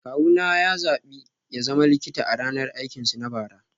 Kawuna ya zaɓi ya zama likita a ranar aikinsu na bara